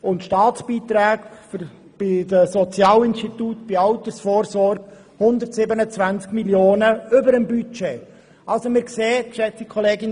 Die Staatsbeträge im Sozialbereich und bei der Altersvorsorge liegen sogar um 127 Mio. Franken über dem Budget.